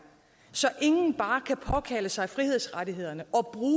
så ingen bare kan påkalde sig frihedsrettighederne